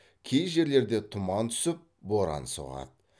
кей жерлерде тұман түсіп боран соғады